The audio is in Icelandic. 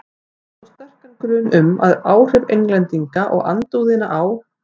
Ég hef þó sterkan grun um, að áhrif Englendinga og andúðina á